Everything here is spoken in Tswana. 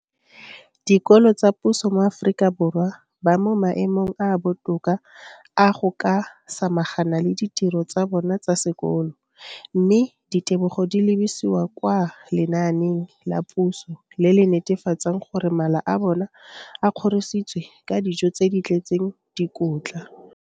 Dikolo tsa puso mo Aforika Borwa ba mo maemong a a botoka a go ka samagana le ditiro tsa bona tsa sekolo, mme ditebogo di lebisiwa kwa lenaaneng la puso le le netefatsang gore mala a bona a kgorisitswe ka dijo tse di tletseng dikotla.